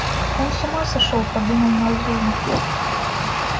он с ума сошёл подумал назумов